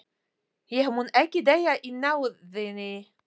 Ég mun ekki deyja í náðinni.